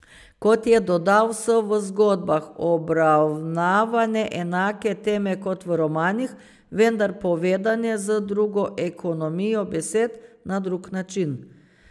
Kot je dodal, so v zgodbah obravnavane enake teme kot v romanih, vendar povedane z drugo ekonomijo besed, na drug način.